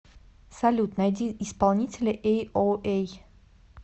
салют найди исполнителя эйоэй